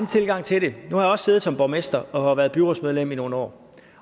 tilgang til det nu har jeg også siddet som borgmester og har været byrådsmedlem i nogle år